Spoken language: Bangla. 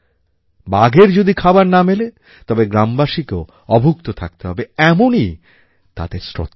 বাঘের যদি খাবার না মেলে তবে গ্রামবাসীকেও অভুক্ত থাকতে হবে এমনই তাদের শ্রদ্ধা